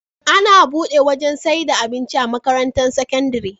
Ana buɗe wajan saida abinci a makarantar sakandari